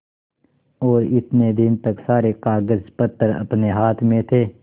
और इतने दिन तक सारे कागजपत्र अपने हाथ में थे